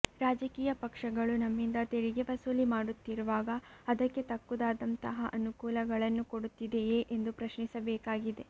ರಾಜಕೀಯ ಪಕ್ಷಗಳು ನಮ್ಮಿಂದ ತೆರಿಗೆ ವಸೂಲಿ ಮಾಡುತ್ತಿರುವಾಗ ಅದಕ್ಕೆ ತಕ್ಕುದಾದಂತಹ ಅನುಕೂಲಗಳನ್ನು ಕೊಡುತ್ತಿದೆಯೇ ಎಂದು ಪ್ರಶ್ನಿಸಬೇಕಾಗಿದೆ